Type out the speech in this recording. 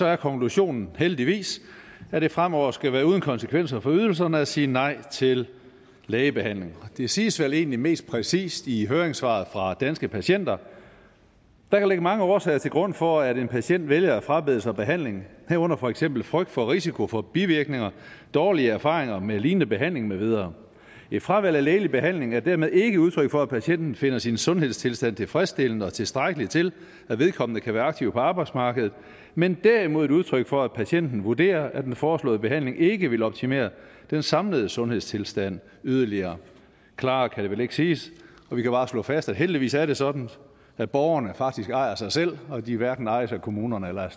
er konklusionen heldigvis at det fremover skal være uden konsekvenser for ydelserne at sige nej til lægebehandling det siges vel egentlig mest præcist i høringssvaret fra danske patienter der kan ligge mange årsager til grund for at en patient vælger at frabede sig behandling herunder for eksempel frygt for risiko for bivirkninger dårlige erfaringer med lignende behandling med videre et fravalg af lægelig behandling er dermed ikke udtryk for at patienten finder sin sundhedstilstand tilfredsstillende og tilstrækkelig til at vedkommende kan være aktiv på arbejdsmarkedet men derimod et udtryk for at patienten vurderer at den foreslåede behandling ikke vil optimere den samlede sundhedstilstand yderligere klarere kan det vel ikke siges og vi kan bare slå fast at heldigvis er det sådan at borgerne faktisk ejer sig selv og at de hverken ejes af kommunerne eller